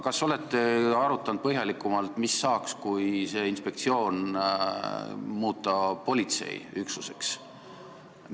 Kas te olete arutanud põhjalikumalt, mis saaks siis, kui see inspektsioon muuta politseiüksuseks?